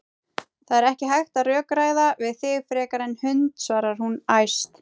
Það er ekki hægt að rökræða við þig frekar en hund, svarar hún æst.